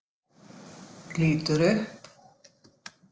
Lítur upp.